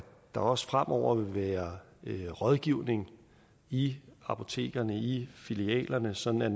der også fremover vil være rådgivning i apotekerne i filialerne sådan at